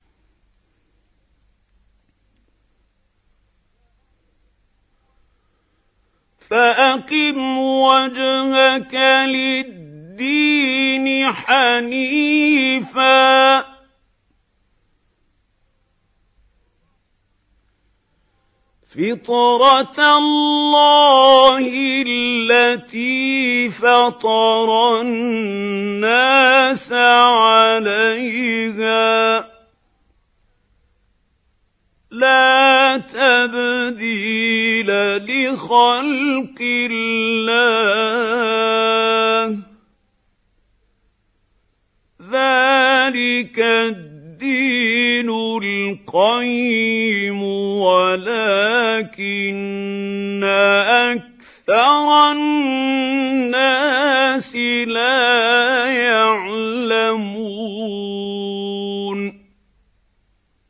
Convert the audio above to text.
فَأَقِمْ وَجْهَكَ لِلدِّينِ حَنِيفًا ۚ فِطْرَتَ اللَّهِ الَّتِي فَطَرَ النَّاسَ عَلَيْهَا ۚ لَا تَبْدِيلَ لِخَلْقِ اللَّهِ ۚ ذَٰلِكَ الدِّينُ الْقَيِّمُ وَلَٰكِنَّ أَكْثَرَ النَّاسِ لَا يَعْلَمُونَ